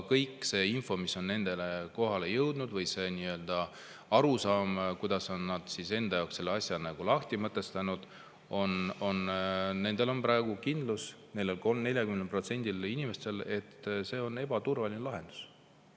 Kogu info, mis on nendeni jõudnud, on arusaama, kuidas nad on selle enda jaoks lahti mõtestanud, ja nendel 40% inimestel on praegu kindlus, et see on ebaturvaline lahendus.